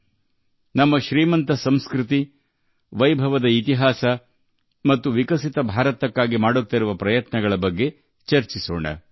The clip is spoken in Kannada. ನಾವು ನಮ್ಮ ಶ್ರೀಮಂತ ಸಂಸ್ಕೃತಿ ನಮ್ಮ ವೈಭವದ ಇತಿಹಾಸ ಮತ್ತು ಅಭಿವೃದ್ಧಿ ಹೊಂದಿದ ಭಾರತವನ್ನು ಮಾಡುವ ನಮ್ಮ ಪ್ರಯತ್ನಗಳ ಬಗ್ಗೆ ಚರ್ಚಿಸುತ್ತೇವೆ